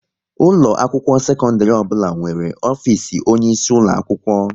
Ụlọ akwụkwọ sekondiri ọbụla nwere ofisi onye isi ulo akwụkwọ